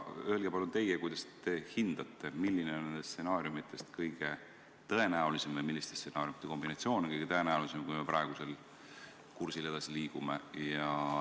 Öelge palun teie, kuidas te hindate, milline on nendest stsenaariumidest kõige tõenäolisem või milliste stsenaariumide kombinatsioon on kõige tõenäolisem, kui me praegusel kursil edasi liigume.